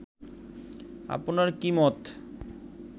আপনার কী মত